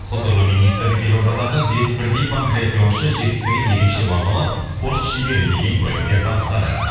құзырлы министр елордадағы бес бірдей панкриатионшы жетістігін ерекше бағалап спорт шебері деген куәліктер табыстады